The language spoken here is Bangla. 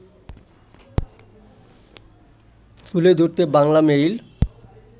তুলে ধরতে বাংলামেইল